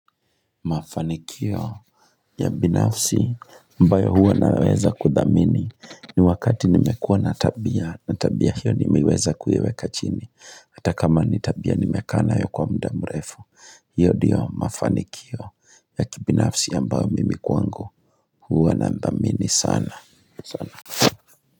Mafanikio ya binafsi ambayo huwa naweza kudhamini ni wakati nimekuwa natabia natabia hiyo nimeiweza kuiweka chini hata kama nitabia nimekaa nayo kwa muda mrefu hiyo ndiyo mafanikio ya kibinafsi ambayo mimi kwangu huwa na dhamini sana sana.